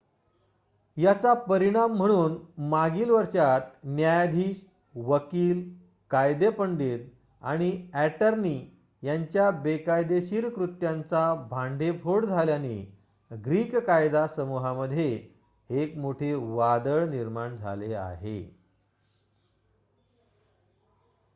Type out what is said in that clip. याचा परिणाम म्हणून मागील वर्षात न्यायाधीश वकील कायदेपंडित आणि ॲटर्नी यांच्या बेकायदेशीर कृत्यांचा भांडेफोड झाल्याने ग्रीक कायदा समूहामध्ये एक मोठे वादळ निर्माण झाले आहे